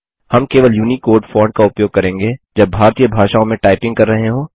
हम केवल Unicode font का उपयोग करेंगे जब भारतीय भाषाओं में टाइपिंग कर रहे हों